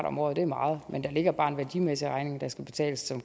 om året er meget men der ligger bare en værdimæssig regning der skal betales